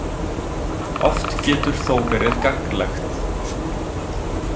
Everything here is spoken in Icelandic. Oft getur þó verið gagnlegt.